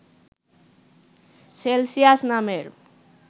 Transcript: Celsius নামের